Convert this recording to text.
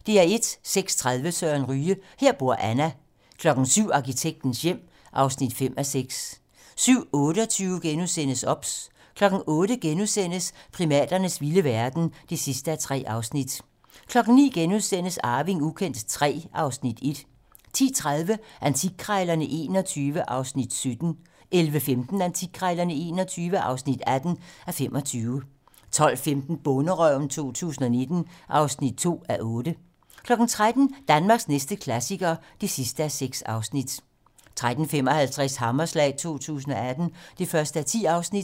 06:30: Søren Ryge: Her bor Anna 07:00: Arkitektens hjem (5:6) 07:28: OBS * 08:00: Primaternes vilde verden (3:3)* 09:00: Arving ukendt III (Afs. 1)* 10:30: Antikkrejlerne XXI (17:25) 11:15: Antikkrejlerne XXI (18:25) 12:15: Bonderøven 2019 (2:8) 13:00: Danmarks næste klassiker (6:6) 13:55: Hammerslag 2018 (1:10)